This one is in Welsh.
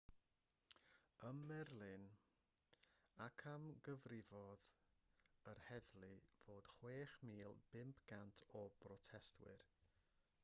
ym merlin amcangyfrifodd yr heddlu fod 6,500 o brotestwyr